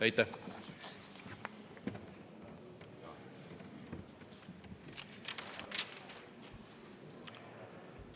Aitäh!